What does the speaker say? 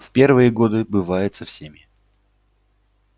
в первые годы бывает со всеми